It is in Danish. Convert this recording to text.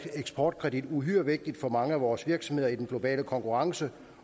eksportkredit uhyre vigtigt for mange af vores virksomheder i den globale konkurrence